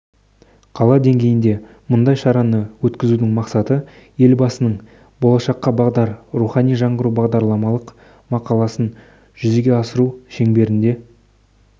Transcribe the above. қала деңгейінде мұндай шараны өткізудің мақсаты елбасының болашаққа бағдар рухани жаңғыру бағдарламалық мақаласын жүзеге асыру шеңберінде